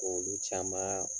K'olu caman